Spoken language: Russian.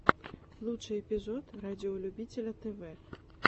лучший эпизод радиолюбителя тв